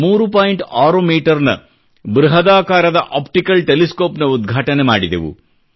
6 ಮೀಟರ್ನ ಬೃಹದಾಕಾರದ optical telescope ನ ಉದ್ಘಾಟನೆ ಮಾಡಿದೆವು